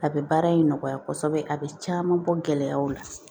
A bɛ baara in nɔgɔya kosɛbɛ a bɛ caman bɔ gɛlɛyaw la